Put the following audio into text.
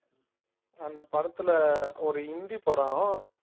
அந்த படத்துல ஒரு ஹிந்தி படம்